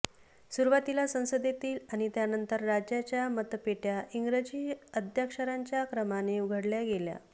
सुरुवातीला संसदेतील आणि त्यानंतर राज्यांच्या मतपेट्या इंग्रजी आद्याक्षरांच्या क्रमाने उघडल्या गेल्या